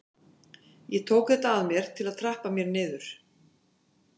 Ég tók þetta að mér til að trappa mér niður.